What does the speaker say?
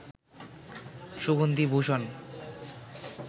সুগন্ধি ভূষণ